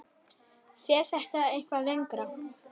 Fer þetta eitthvað lengra?